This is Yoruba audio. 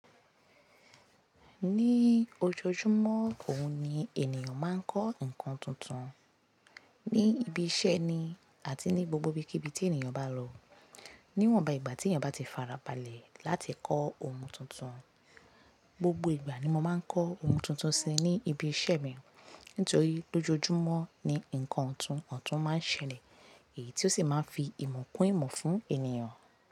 Ní ojoojúmọ́, òun ni ènìyàn máa ń kọ́ nǹkan tuntun. Ní ibi iṣẹ́ ni àti ní gbogbo ibikíbi tí ènìyàn bá lọ. Níwọ̀nba ìgbà tí ènìyàn bá ti farabalẹ̀ láti kọ́ ohun tuntun. Gbogbo ìgbà ni mo máa ń kọ́ ohun tuntun si ní ibi iṣẹ́ mi. Nítorí lójoojúmọ́ ni nǹkan ọ̀tún ọ̀tún máa ń ṣẹlẹ̀ èyí tí ó sì máa ń fi ìmọ̀ kún ìmọ̀ fún ènìyàn.